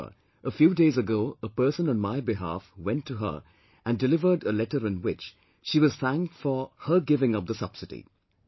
However, a few days ago a person on my behalf went to her and delivered a letter in which she was thanked for her giving up the subsidy